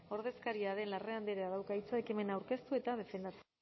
ordezkaria den larrea andreak dauka hitza ekimena aurkeztu eta defendatzeko